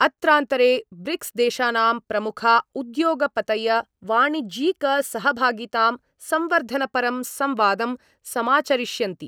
अत्रान्तरे ब्रिक्स्देशानाम् प्रमुखा उद्योगपतय वाणिज्यिकसहभागितां संवर्धनपरं संवादं समाचरिष्यन्ति।